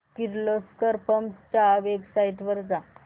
Kirloskar pumps च्या website वर जा